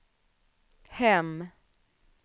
hem